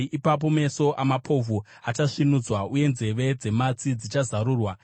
Ipapo meso amapofu achasvinudzwa uye nzeve dzematsi dzichazarurwa.